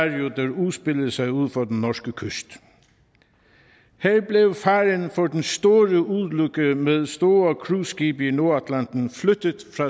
udspillede sig ud for den norske kyst her blev faren for den store ulykke med store cruiseskibe i nordatlanten flyttet